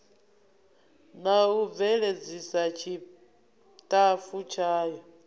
na u bveledzisa tshitafu tshayo